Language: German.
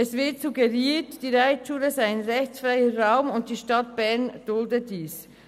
Es wird suggeriert, die Reitschule sei ein rechtsfreier Raum und die Stadt Bern dulde dies.